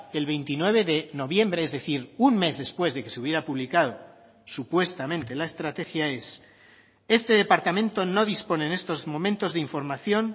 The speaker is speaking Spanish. el veintinueve de noviembre es decir un mes después de que se hubiera publicado supuestamente la estrategia es este departamento no dispone en estos momentos de información